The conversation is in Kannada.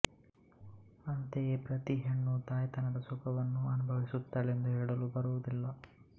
ಅಂತೆಯೇ ಪ್ರತಿ ಹೆಣ್ಣು ತಾಯ್ತನದ ಸುಖವನ್ನು ಅನುಭವಿಸುತ್ತಾಳೆಂದು ಹೇಳಲು ಬರುವುದಿಲ್ಲ